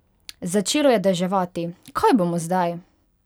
Začelo je deževati, kaj bomo zdaj?